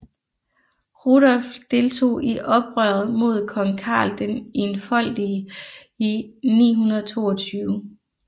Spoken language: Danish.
Rudolf deltog i oprøret mod kong Karl den Enfoldige i 922